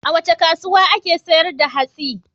A wace kasuwa ake sayar da hatsi?